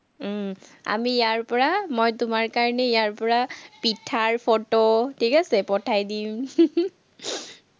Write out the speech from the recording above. উম আমি ইয়াৰপৰা মই তোমাৰ কাৰণে ইয়াৰপৰা পিঠাৰ ফটো, ঠিক আছে, পঠাই দিম